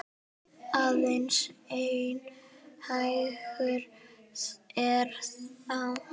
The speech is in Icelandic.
Aðeins einn hængur er á.